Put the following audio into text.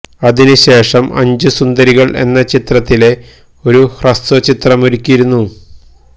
അതിനു ശേഷം അഞ്ചു സുന്ദരികള് എന്ന ചിത്രത്തിലെ ഒരു ഹ്രസ്വ ചിത്രമൊരുക്കിയിരുന്നു